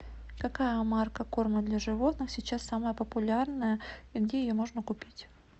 какая марка корма для животных сейчас самая популярная и где ее можно купить